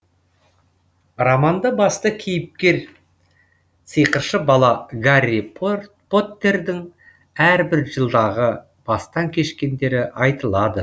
романда басты кейіпкер сиқыршы бала гарри поттердің әрбір жылдағы бастан кешкендері айтылады